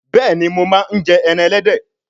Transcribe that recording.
Béèni mọ má njẹ èràn elédè